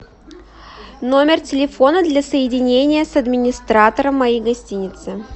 номер телефона для соединения с администратором моей гостиницы